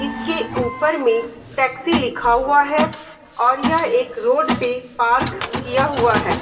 इसके ऊपर में टैक्सी लिखा हुआ है और यह एक रोड पे पार्क किया हुआ है।